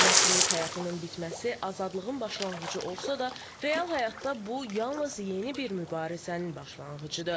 Məhkumluq həyatının bitməsi azadlığın başlanğıcı olsa da, real həyatda bu yalnız yeni bir mübarizənin başlanğıcıdır.